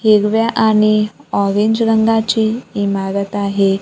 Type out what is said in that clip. हिरव्या आणि ऑरेंज रंगाची इमारत आहे.